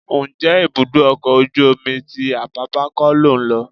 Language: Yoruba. Ǹjẹ́ ibùdó ọkọ̀ ojú omi ti Apápá kọ́ lò ń lọ?